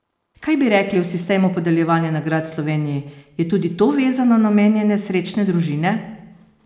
Kaj bi rekli o sistemu podeljevanja nagrad v Sloveniji, je tudi to vezano na omenjene srečne družine?